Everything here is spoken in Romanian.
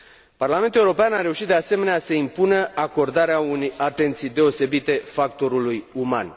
Parlamentul European a reușit, de asemenea, să impună acordarea unei atenții deosebite factorului uman.